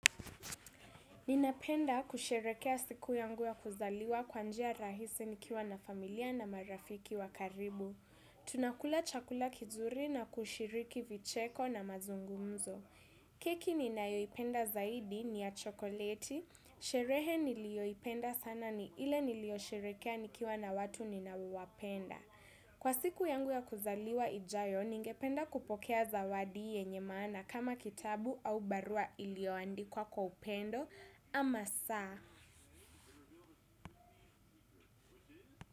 Ninapenda kusherekea siku yangu ya kuzaliwa kwa njia rahisi nikiwa na familia na marafiki wa karibu. Tunakula chakula kizuri na kushiriki vicheko na mazungumzo. Keki ninayoipenda zaidi ni ya chokoleti. Sherehe niliyoipenda sana ni ile niliyosherekea nikiwa na watu ninaowapenda. Kwa siku yangu ya kuzaliwa ijayo, ningependa kupokea zawadi yenye maana kama kitabu au barua iliyoandikwa kwa upendo ama saa.